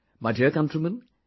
My dear countrymen,